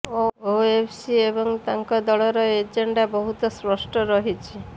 ଓୱେସି ଏବଂ ତାଙ୍କ ଦଳର ଏଜେଣ୍ଡା ବହୁତ ସ୍ପଷ୍ଟ ରହିଛି